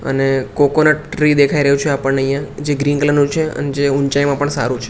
અને coconut tree દેખાય રહ્યુ છે આપણને અહિયા જે ગ્રીન કલર નુ છે અને જે ઊંચાઈમાં પણ સારુ છે.